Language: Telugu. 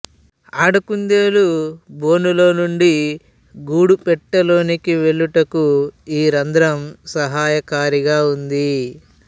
ఆడ కుందేలు బోనులో నుండి గూడు పెట్టెలోనికి వెళ్ళుటకు ఈ రంధ్రం సహాయకారిగా ఉంటుంది